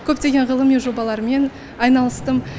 көптеген ғылыми жобалармен айналыстым